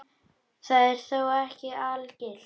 Það er þó ekki algilt.